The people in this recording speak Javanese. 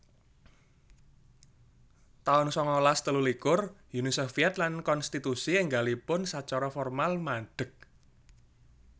taun sangalas telulikur Uni Soviet lan konstitusi énggalipun sacara formal madeg